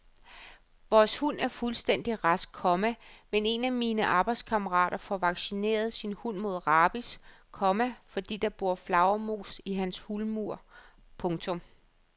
Vores hund er fuldstændig rask, komma men en af mine arbejdskammerater får vaccineret sin hund mod rabies, komma fordi der bor flagermus i hans hulmur. punktum